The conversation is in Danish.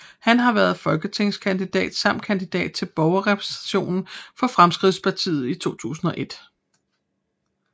Han har været folketingskandidat samt kandidat til Borgerrepræsentationen for Fremskridtspartiet i 2001